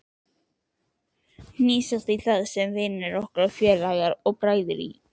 Hnýsast í það, sem vinir okkar, félagar og bræður í